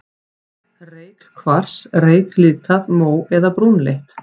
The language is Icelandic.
Reykkvars, reyklitað, mó- eða brúnleitt.